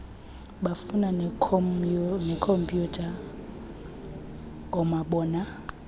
bufana neekhomyutha noomabona